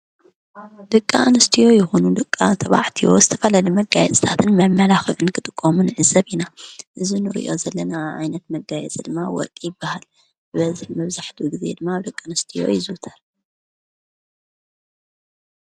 ደቂ ኣንስትዮ ይኹኑ ደቂ ተባዕትዮ ዝተፈላለየ መጋየፂታትን መመላኽዕን ክጥቀሙ ንዕዘብ ኢና፡፡ እዚ ንሪኦ ዘለና ዓይነት መጋየፂ ድማ ወርቂ ይበሃል፡፡ ብበዝሒ መብዛሕቱ ጊዜ ድማ ኣብ ደቂ ኣንስትዮ ይዝወተር፡፡